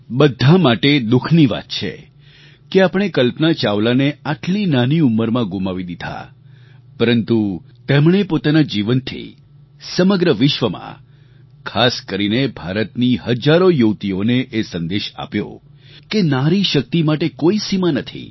બધા માટે એ દુઃખની વાત છે કે આપણે કલ્પના ચાવલાને આટલી નાની ઉંમરમાં ગુમાવી દીધાં પરંતુ તેમણે પોતાના જીવનથી સમગ્ર વિશ્વમાં ખાસ કરીને ભારતની હજારો યુવતીઓને એ સંદેશ આપ્યો કે નારી શક્તિ માટે કોઈ સીમા નથી